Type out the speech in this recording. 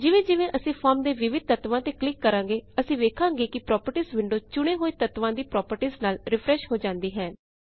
ਜਿਵੇਂ ਜਿਵੇਂ ਅਸੀਂ ਫੋਰਮ ਦੇ ਵਿਵਿਧ ਤੱਤਵਾਂ ਤੇ ਕਲਿਕ ਕਰਾਂਗੇ ਅਸੀਂ ਵੇਖਾਂਗੇ ਕਿ ਪ੍ਰੌਪਟੀਜ਼ ਵਿੰਡੋ ਚੁਣੇ ਹੋਏ ਤੱਤਵਾਂ ਦੀ ਪ੍ਰੌਪਰਟੀਜ਼ ਨਾਲ ਰਿਫਰੈੱਸ਼ ਹੋ ਜਾਉਂਦੀ ਹੈ